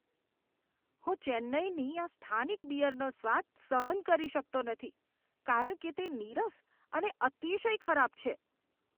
હું ચેન્નાઈની આ સ્થાનિક બીયરનો સ્વાદ સહન કરી શકતો નથી કારણ કે તે નિરસ અને અતિશય ખરાબ છે.